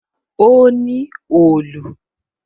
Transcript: O ní òòlù